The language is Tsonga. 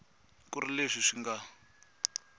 ku ri leswi swi nga